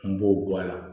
N b'o bɔ a la